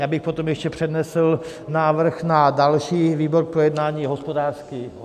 Já bych potom ještě přednesl návrh na další výbor k projednání - hospodářský výbor.